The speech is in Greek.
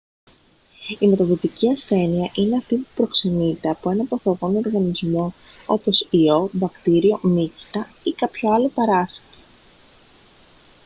η μεταδοτική ασθένεια είναι αυτή που προξενείται από έναν παθογόνο οργανισμό όπως ιό βακτήριο μύκητα ή κάποιο άλλο παράσιτο